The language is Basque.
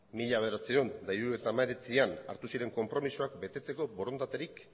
mila bederatziehun eta hirurogeita hemeretzian hartu ziren konpromezuak betetzeko borondaterik